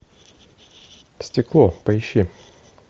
стекло поищи